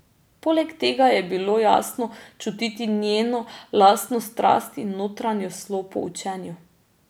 Poleg tega je bilo jasno čutiti njeno lastno strast in notranjo slo po učenju.